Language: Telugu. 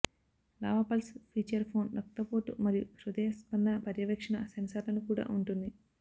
లావా పల్స్ ఫీచర్ ఫోన్ రక్తపోటు మరియు హృదయ స్పందన పర్యవేక్షణ సెన్సార్లను కూడా ఉంటుంది